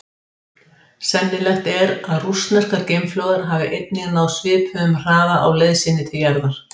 Sennilegt er að rússneskar geimflaugar hafa einnig náð svipuðum hraða á leið sinni til jarðar.